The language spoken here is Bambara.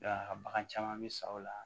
a bagan caman bɛ sa o la